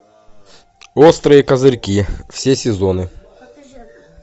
острые козырьки все сезоны